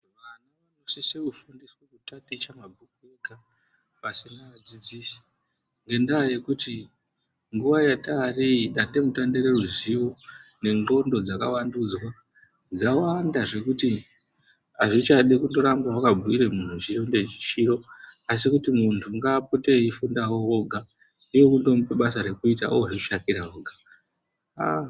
Vantu vanosisa kufundiwa kutaticha mabhuku ega pasina dzidziso ngendaa yekuti nguwa yataari iyi dande mutande reruzivo nendxondo dzakawandudzwa dzawanda zvekuti hazvichadi kuramba wakabhuira muntu Chiro ngechiro asi kuti muntu ngaapote eifundawo enga kwaatomupa basa rekuita ozvishandira oga.